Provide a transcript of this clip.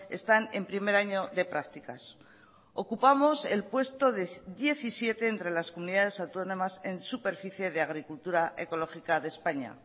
están en primer año de prácticas ocupamos el puesto diecisiete entre las comunidades autónomas en superficie de agricultura ecológica de españa